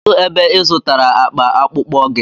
Kedụ ebe ị zụtara akpa akpụkpọ gị?